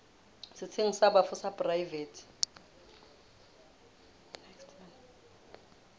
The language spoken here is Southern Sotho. setsheng sa bafu sa poraefete